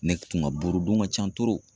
Ne tun ka buru dun ka can